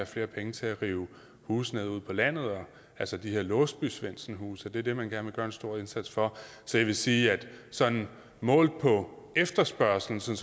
flere penge til at rive huse ned ude på landet altså de her låsby svendsen huse det er det man gerne vil gøre en stor indsats for så jeg vil sige at sådan målt på efterspørgsel